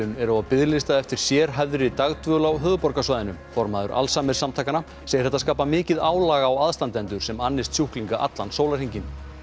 eru á biðlista eftir sérhæfðri dagdvöl á höfuðborgarsvæðinu formaður segir þetta skapa mikið álag á aðstandendur sem annist sjúklinga allan sólarhringinn